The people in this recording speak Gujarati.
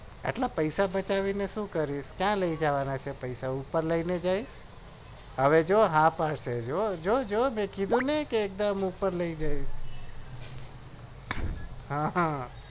આટલા પેસા બચાવી ને શું કરીશ કયા લઇ જવાના છે હવે હા પાડશે જુઠું બોલી કે એકદમ ઉપર લઇ જઉ